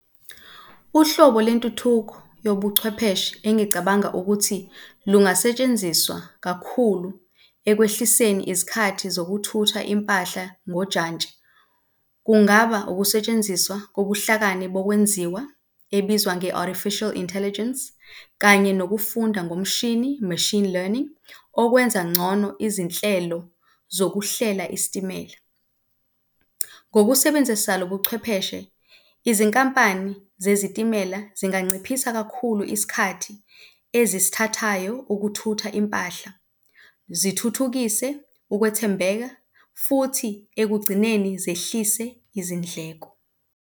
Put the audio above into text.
Uhlobo lentuthuko yobuchwepheshe engicabanga ukuthi lungasetshenziswa kakhulu ekwehliseni izikhathi zokuthutha impahla ngojantshi, kungaba ukusetshenziswa ngobuhlakani kokwenziwa ebizwa nge-Artificial Intelligence kanye nokufunda ngomshini, machine learning okwenza ngcono izinhlelo zokuhlela isitimela. Ngokusebenzisa lobuchwepheshe izinkampani zezitimela zinganciphisa kakhulu isikhathi ezisithathayo ukuthutha impahla, zithuthukise ukwethembeka futhi ekugcineni zehlise izindleko.